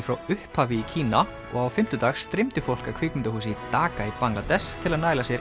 frá upphafi í Kína og á fimmtudag streymdi fólk að kvikmyndahúsi í Dhaka í Bangladess til að næla sér